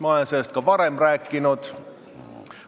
Ma olen sellest ka varem rääkinud.